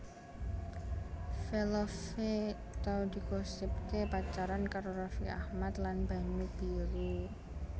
Velove tau digosipaké pacaran karo Raffi Ahmad lan Banyu Biru